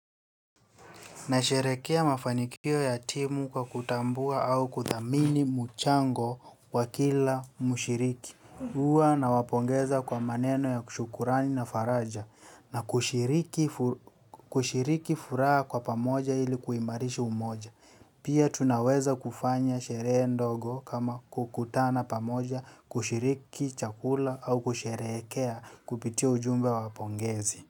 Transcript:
Na sherekea mafanikio ya timu kwa kutambua au kuthamini mchango kwa kila mushiriki. Huwa nawapongeza kwa maneno ya kushukurani na faraja na kushiriki furaha kwa pamoja ili kuimarishi umoja. Pia tunaweza kufanya sherehe ndogo kama kukutana pamoja kushiriki chakula au kusherekea kupitia ujumbe wapongezi.